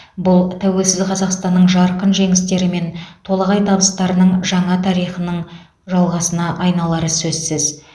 бұл тәуелсіз қазақстанның жарқын жеңістері мен толағай табыстарының жаңа тарихының жалғасына айналары сөзсіз